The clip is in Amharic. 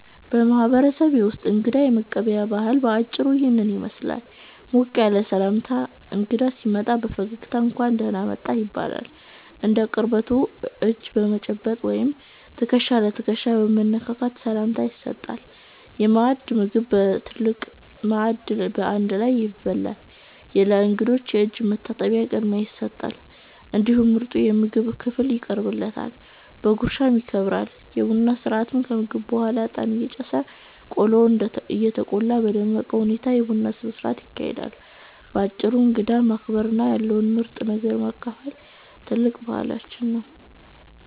በማህበረሰቤ ውስጥ እንግዳ የመቀበያ ባህል በአጭሩ ይህንን ይመስላል፦ ሞቅ ያለ ሰላምታ፦ እንግዳ ሲመጣ በፈገግታ "እንኳን ደህና መጣህ" ይባላል። እንደ ቅርበቱ እጅ በመጨባበጥ ወይም ትከሻ ለትከሻ በመነካካት ሰላምታ ይሰጣል። የማዕድ ሥርዓት፦ ምግብ በትልቅ ማዕድ በአንድ ላይ ይበላል። ለእንግዳው የእጅ መታጠቢያ ቅድሚያ ይሰጣል፤ እንዲሁም ምርጡ የምግብ ክፍል ይቀርብለታል፣ በጉርሻም ይከበራል። የቡና ሥርዓት፦ ከምግብ በኋላ እጣን እየጨሰ፣ ቆሎ እየተቆላ በደመቀ ሁኔታ የቡና ሥርዓት ይካሄዳል። ባጭሩ እንግዳን ማክበርና ያለውን ምርጥ ነገር ማካፈል ትልቅ ባህላችን ነው።